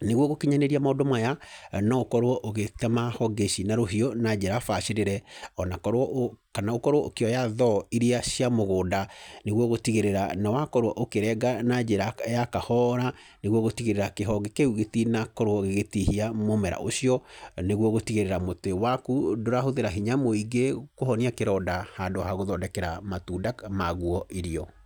Nĩguo gũkinyanĩria maũndũ maya, no ũkorwo ũgĩtema honge ici na rũhiũ na njĩra bacĩrĩre, ona korwo, kana ũkorwo ũkĩoya thoo iria cia mĩgũnda, nĩguo gũtigĩrĩra nĩ wakorwo ũkĩrenga na njĩra ya kahora, nĩguo gũtigĩrĩra kĩhonge kĩu gĩtinakorwo gĩgĩtihia mũmera ũcio, nĩguo gũtigĩrĩra mũtĩ waku ndũrahũthĩra hinya mũingĩ kũhonia kĩronda handũ ha gũthondekera matunda maguo irio.